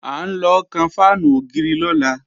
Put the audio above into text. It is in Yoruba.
À ń lọ kan fáànù ògiri lọ́la